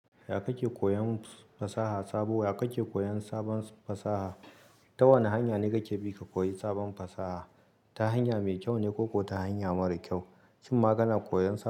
Ya ku ke koyon fasaha sabo? Ya ka ke koyon sabon fasaha? Ta wane hanya ne ka ke bi ka koyi sabon fasaha? Ta hanya mai kyau ne ko ko ta hanya mara kyau? Shin ma kana koyon sabon.